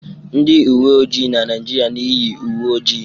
Ndị uwe ojii na Naịjirịa na-eyi uwe ojii.